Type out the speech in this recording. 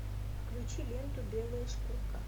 включи ленту белая шкурка